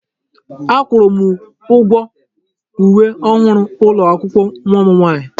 Akwụrụ m ụgwọ uwe ọhụrụ ụlọ akwụkwọ nwa m nwaanyị.